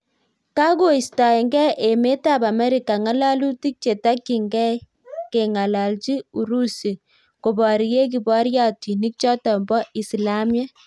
Kakoistaengei emeet ap Amerika ng'alalutik chetakyingei kengalalchi urusi koparie kipariotinik chotok poo isilamiek